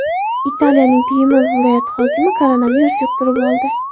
Italiyaning Pyemont viloyati hokimi koronavirus yuqtirib oldi.